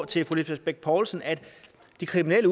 til fru lisbeth bech poulsen at de kriminelle